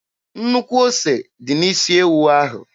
Nnukwu ose dị n'isi ewu ahụ.